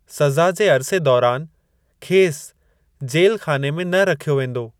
सज़ा जे अर्से दौरान खेसि जेल-ख़ाने में न रखियो वेंदो।